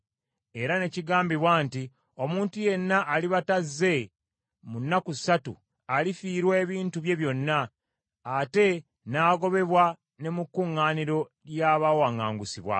Era ne kigambibwa nti omuntu yenna aliba tazze mu nnaku ssatu, alifiirwa ebintu bye byonna, ate n’agobebwa ne mu kuŋŋaaniro lya baawaŋŋangusibwa.